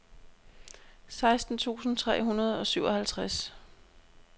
seksten tusind tre hundrede og syvoghalvtreds